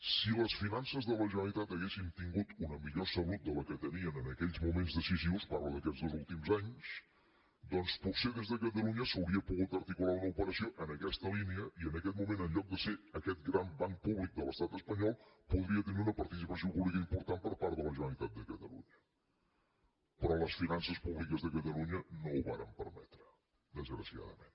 si les finances de la generalitat haguessin tingut una millor salut de la que tenien en aquells moments decisius parlo d’aquests dos últims anys doncs potser des de catalunya s’hauria pogut articular una operació en aquesta línia i en aquest moment en lloc de ser aquest gran banc públic de l’estat espanyol podria tenir una participació pública important per part de la generalitat de catalunya però les finances públiques de catalunya no ho varen permetre desgraciadament